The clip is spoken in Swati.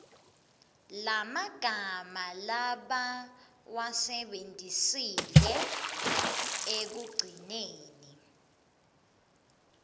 lemagama labawasebentisile ekugcineni